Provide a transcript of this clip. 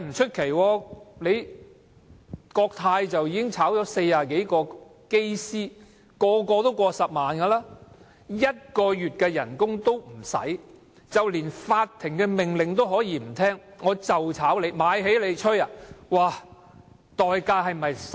前幾年國泰解僱40多名機師，每名機師月薪都過10萬元，僱主無須用1個月的薪酬，便連法庭命令都可以不聽："我就解僱你，'買起'你，奈我何？